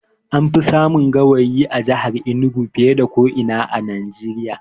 An fi samun gawayi a jahar Enugu fiye da ko ina a Najeriya